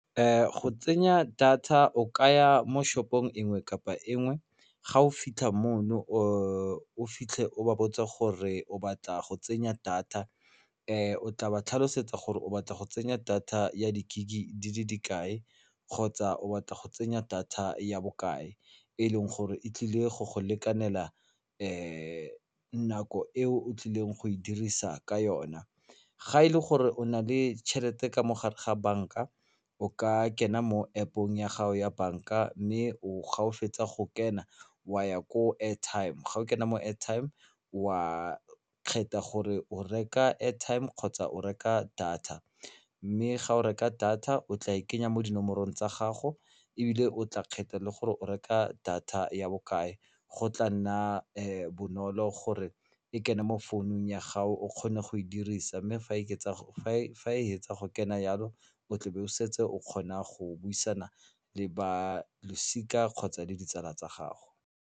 Go tsenya data o kaya mo shop-ong nngwe kapa nngwe ga o fitlha moo o fitlhe o ba botse gore o batla go tsenya data o tla ba tlhalosetsa gore o batla go tsenya data ya di-GIG di le kae kgotsa o batla go tsenya data ya bokae e leng gore e tlile go go lekanela nako e o tlileng go e dirisa ka yona ga e le gore o na le tšhelete ka mo gare ga bank-a o ka kena mo App-ong ya gago ya bank-a mme ga o fetsa go kena wa ya ko airtime ga o kene mo airtime wa kgetha gore o reka airtime kgotsa o reka data mme ga o reka data o tla e kenya mo dinomorong tsa gago ebile o tla kgetha le gore o reka data ya bokae go tla nna bonolo gore e kene mo founung ya gago o kgone go e dirisa mme fa e fetsa go kena yalo o tla be o setse o kgona go buisana le balosika kgotsa le ditsala tsa gago.